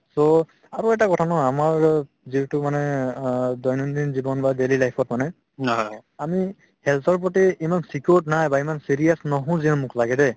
so আৰু এটা কথা নহয় আমাৰ জীওটো মানে অ দৈনন্দিন জীৱন বা daily life ত মানে আমি health ৰ প্ৰতি ইমান secured নাই বা ইমান serious নহও যেন মোক লাগে দে